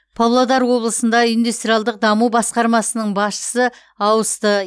павлодар облысында индустриалдық даму басқармасының басшысы ауысты